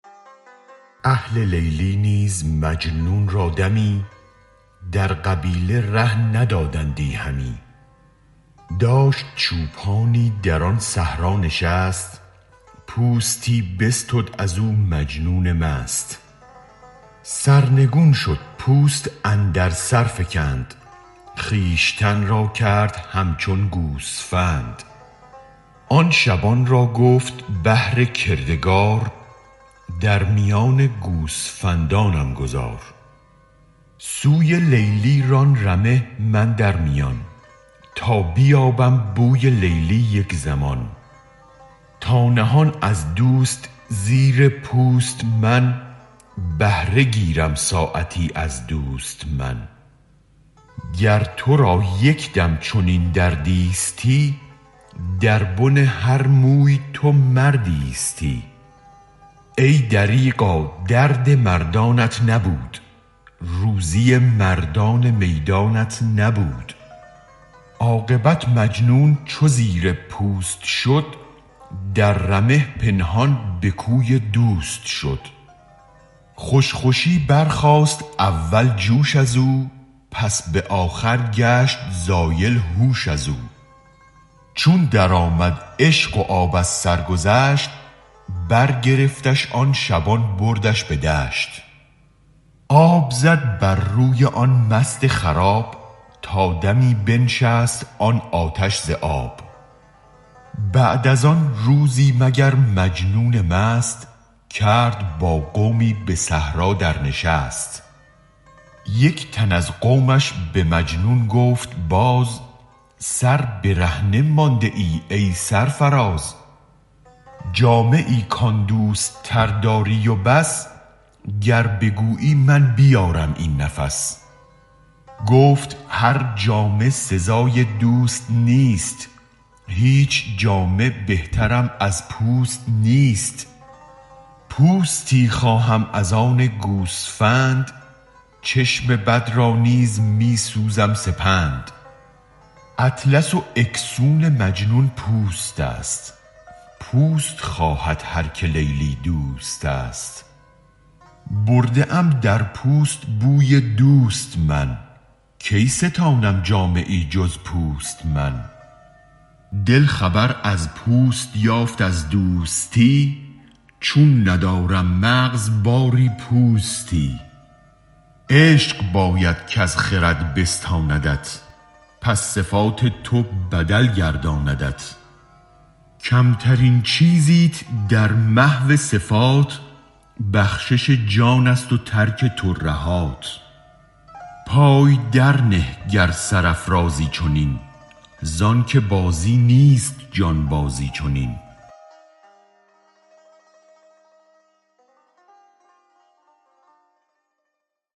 اهل لیلی نیز مجنون را دمی در قبیله ره ندادندی همی داشت چوپانی در آن صحرا نشست پوستی بستد ازو مجنون مست سرنگون شد پوست اندر سرفکند خویشتن را کرد همچون گوسفند آن شبان را گفت بهر کردگار در میان گوسفندانم گذار سوی لیلی ران رمه من در میان تا بیابم بوی لیلی یک زمان تا نهان از دوست زیر پوست من بهره گیرم ساعتی از دوست من گر ترا یک دم چنین دردیستی در بن هر موی تو مردیستی ای دریغا درد مردانت نبود روزی مردان میدانت نبود عاقبت مجنون چو زیر پوست شد در رمه پنهان به کوی دوست شد خوش خوشی برخاست اول جوش ازو پس به آخر گشت زایل هوش ازو چون درآمد عشق و آب از سرگذشت برگرفتش آن شبان بردش به دشت آب زد بر روی آن مست خراب تا دمی بنشست آن آتش ز آب بعد از آن روزی مگر مجنون مست کرد با قومی به صحرا در نشست یک تن از قومش به مجنون گفت باز بس برهنه مانده ای ای سرفراز جامه ای کان دوست تر داری و بس گر بگویی من بیارم این نفس گفت هرجامه سزای دوست نیست هیچ جامه بهترم از پوست نیست پوستی خواهم از آن گوسفند چشم بد را نیز می سوزم سپند اطلس و اکسون مجنون پوستست پوست خواهد هرک لیلی دوستست برده ام در پوست بوی دوست من کی ستانم جامه ای جز پوست من دل خبر از پوست یافت از دوستی چون ندارم مغز باری پوستی عشق باید کز خرد بستاندت پس صفات تو بدل گرداندت کمترین چیزیت در محو صفات بخشش جانست و ترک ترهات پای درنه گر سرافرازی چنین زآن که بازی نیست جانبازی چنین